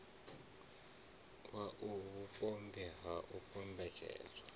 wau vhupombwe ha u kombetshedzwa